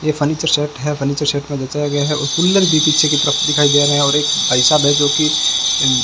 ये furniture set है furniture set में गया है जचाया और कूलर भी पीछे की तरफ दिखाई दे रहा है और एक भाई साहब है जोकि अह --